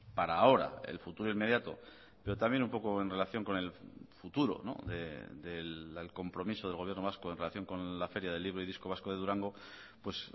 para ahora el futuro inmediato pero también un poco en relación con el futuro del compromiso del gobierno vasco en relación con la feria del libro y disco vasco de durango pues